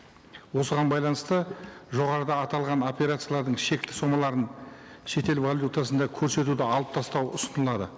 осыған байланысты жоғарыда аталған операциялардың шекті сомаларын шетел валютасында көрсетуді алып тастау ұсынылады